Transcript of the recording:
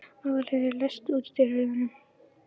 Aðalheiður, læstu útidyrunum.